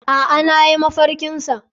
Aa nayi mafarki sa.